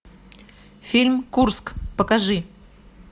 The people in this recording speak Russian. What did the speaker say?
фильм курск покажи